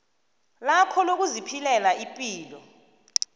lakho lokuziphilela ipilo